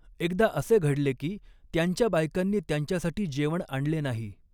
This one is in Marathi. एकदा असे घडले की, त्यांच्या बायकांनी त्यांच्यासाठी जेवण आणले नाही.